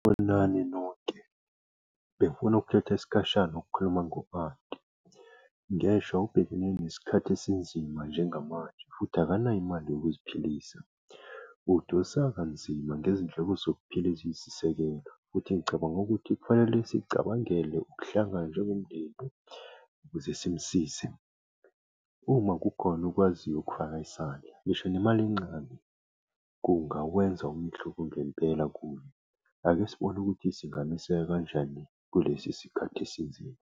nonke. Ngifuna ukuthatha isikhashana ukukhuluma ngo-anti. Ngeshwa ubhekene nesikhathi esinzima njengamanje futhi akanayo imali yokuziphilisa. Udonsa kanzima ngezindleko zokuphila eziyisisekelo futhi ngicabanga ukuthi kufanele sicabangele ukuhlangana njengomndeni ukuze simusize. Uma kukhona okwaziyo ukufaka isandla, ngisho nemali encane, kungawenza umehluko ngempela kuye. Ake sibone ukuthi singameseka kanjani kulesi sikhathi esinzima.